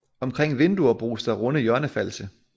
Omkring vinduer bruges der runde hjørnefalse